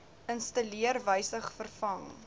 installeer wysig vervang